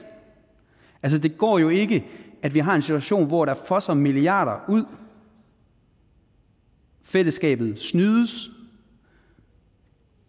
det går jo ikke at vi har en situation hvor der fosser milliarder ud fællesskabet snydes